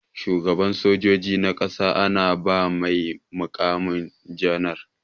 Shugaban sojoji na ƙasa ana ba mai mukamin janar.